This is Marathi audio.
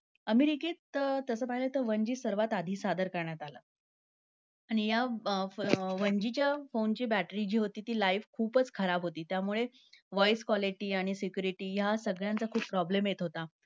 अमेरिकेत तसं पाहिलं तर one G सगळ्यात आधी सादर करण्यात आलं. आणि या अं one G च्या phone ची, जी battery होती life खूपच खराब होती. त्यामुळे voice quality आणि security ह्या सगळ्यांचा खूपच problem येत होता.